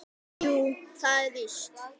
Jú, það er víst.